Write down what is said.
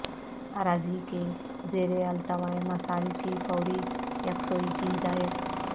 اراضی کے زیر التواء مسائل کی فوری یکسوئی کی ہدایت